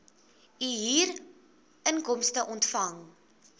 u huurinkomste ontvang